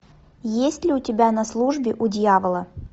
есть ли у тебя на службе у дьявола